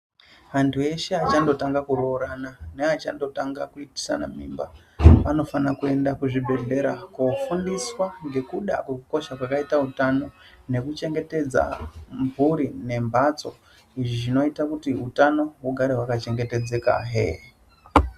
Antu eshe achandotanga kuroorana neachangotanga kuitisana mimba anofana kuenda kuzvibhedhlera koofundiswa ngekuda kwekukosha kwakaita utano nekuchengetedza mhuri nembatso. Izvi zvinoita kuti utano hugare hwaka chengetedzekazve.